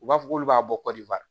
U b'a fɔ k'olu b'a bɔ kɔdiwari